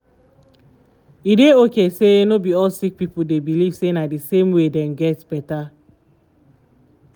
e dey okay say no be all sick pipo dey believe say na d same way dem get better.